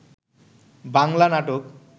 বাংলা নাটক